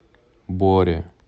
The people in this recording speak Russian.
боре